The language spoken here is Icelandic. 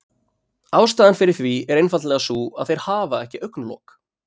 Ástæðan fyrir því er einfaldlega sú að þeir hafa ekki augnlok.